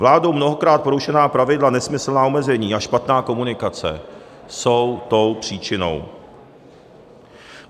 Vládou mnohokrát porušená pravidla, nesmyslná omezení a špatná komunikace jsou tou příčinou.